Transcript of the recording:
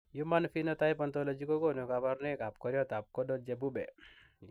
Human Phenotype Ontology kokonu kabarunoikab koriotoab Gordon chebube.